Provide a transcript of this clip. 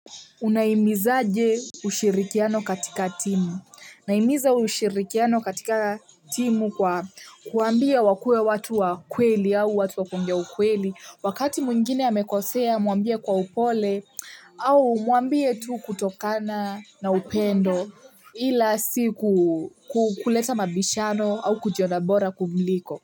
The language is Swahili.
Unahimizaje ushirikiano katika timu. Nahimiza ushirikiano katika timu kwa kuambia wakue watu wa kweli au watu wa kongea ukweli. Wakati mwingine amekosea muambie kwa upole au muambie tu kutokana na upendo ila si kuleta mabishano au kujiona bora kumliko.